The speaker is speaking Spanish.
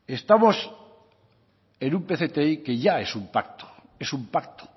estamos en un pcti que ya es un pacto es un pacto